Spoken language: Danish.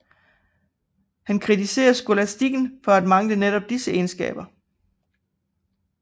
Han kritiserede skolastikken for at mangle netop disse egenskaber